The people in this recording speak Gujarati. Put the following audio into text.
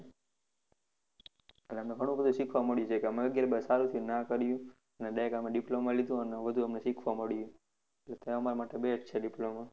એટલે અમને ઘણું બધું શિખવા મળ્યું છે, કે અમે અગિયાર બાર સારું થયું નાં કર્યું, અને direct અમે diploma લીધું અને અમને બધું શિખવા મળ્યું, એટલે અમારા માટે best છે, diploma